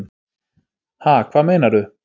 Ha, hvað meinarðu?